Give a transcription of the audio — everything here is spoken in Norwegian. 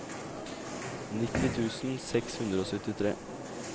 nitti tusen seks hundre og syttitre